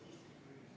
Aitäh!